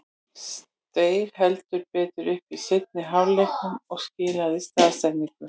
Steig heldur betur upp í seinni hálfleiknum og skilaði stoðsendingu.